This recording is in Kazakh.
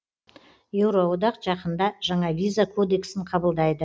еуроодақ жақында жаңа виза кодексін қабылдайды